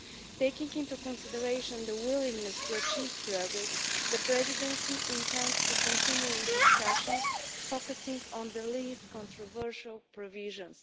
Taking into consideration the willingness to achieve progress, the Presidency intends to continue with discussions focusing on the least controversial provisions.